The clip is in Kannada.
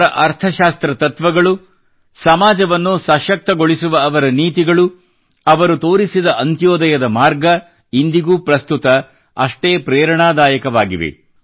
ಅವರ ಅರ್ಥಶಾಸ್ತ್ರ ತತ್ವಗಳು ಸಮಾಜವನ್ನು ಸಶಕ್ತಗೊಳಿಸುವ ಅವರ ನೀತಿಗಳು ಅವರು ತೋರಿಸಿದ ಅಂತ್ಯೋದಯದ ಮಾರ್ಗ ಇಂದಿಗೂ ಪ್ರಸ್ತುತ ಅಷೆ್ಟೀ ಪ್ರೇರಣಾದಾಯಕವಾಗಿವೆ